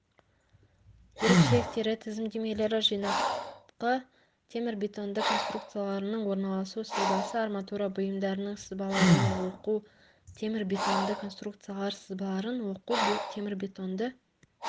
ерекшеліктері тізімдемелері жинақы темірбетонды конструкцияларының орналасу сызбасы арматура бұйымдарының сызбаларының оқу темірбетонды конструкциялар сызбаларын оқу темірбетонды